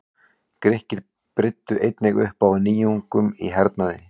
Grikkir brydduðu einnig upp á nýjungum í hernaði.